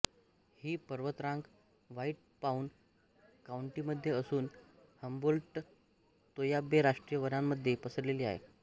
ही पर्वतरांग White Pine काउंटीमध्ये असून हम्बोल्टतोय्याबे राष्ट्रीय वनांमध्ये पसरलेली आहे